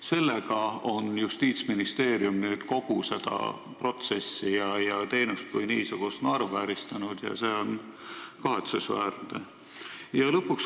Selle möödapanekuga on Justiitsministeerium kogu seda protsessi ja teenust kui niisugust naeruvääristanud ja see on kahetsusväärne.